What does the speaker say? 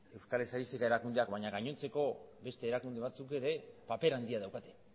euskal estatistika erakundeak baino gainontzeko beste erakunde batzuk ere papera handia daukate